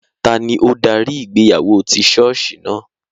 Tani o dari ìgbéyàwó ti ṣọọṣi naa?